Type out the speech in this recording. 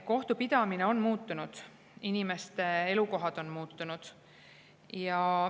Kohtupidamine on muutunud, inimeste elukohad on muutunud.